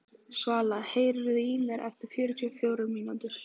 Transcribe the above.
Svala, heyrðu í mér eftir fjörutíu og fjórar mínútur.